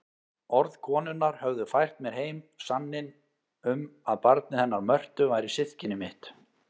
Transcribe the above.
Orð konunnar höfðu fært mér heim sanninn um að barnið hennar Mörtu væri systkini mitt.